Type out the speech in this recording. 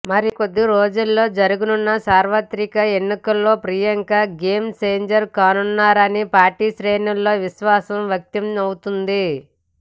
మరి కొద్ది రోజుల్లో జరగనున్న సార్వత్రిక ఎన్నికల్లో ప్రియాంక గేమ్ ఛేంజర్ కానున్నారని పార్టీ శ్రేణుల్లో విశ్వాసం వ్యక్తమవుతోంది